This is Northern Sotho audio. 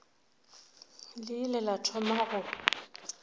le ile la thoma go